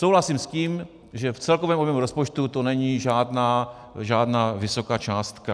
Souhlasím s tím, že v celkovém objemu rozpočtu to není žádná vysoká částka.